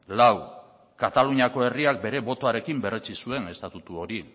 lau kataluniako herriak bere botoarekin berretsi zuen estatutu hori